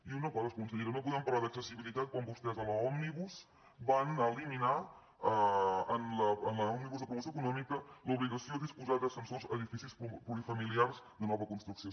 i una cosa consellera no podem parlar d’accessibilitat quan vostès a l’òmnibus van eliminar en l’òmnibus de promoció econòmica l’obligació de disposar d’ascensors a edificis plurifamiliars de nova construcció